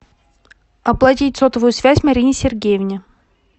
оплатить сотовую связь марине сергеевне